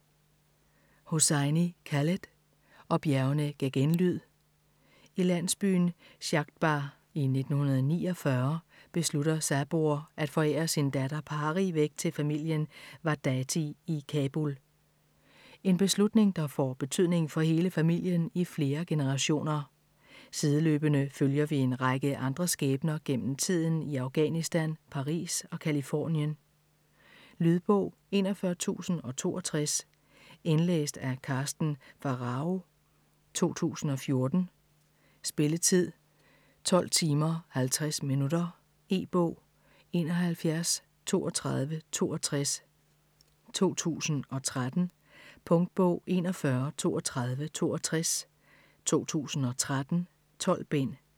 Hosseini, Khaled: Og bjergene gav genlyd I landsbyen Shadbagh i 1949 beslutter Saboor at forære sin datter Pari væk til familien Wahdati i Kabul. En beslutning der får betydning for hele familien i flere generationer. Sideløbende følger vi en række andre skæbner gennem tiden i Afghanistan, Paris og Californien. Lydbog 41062 Indlæst af Karsten Pharao, 2014. Spilletid: 12 timer, 50 minutter. E-bog 713262 2013. Punktbog 413262 2013. 12 bind.